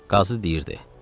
Qazı deyirdi: